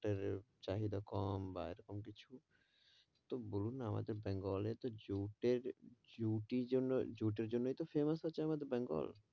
এর চাহিদা কম বা এরকম কিছু, তো বলুন না আমাদের তো বেঙ্গল এ জুটের জুটি জুটের জন্যই তো famous আছে আমাদের বেঙ্গল,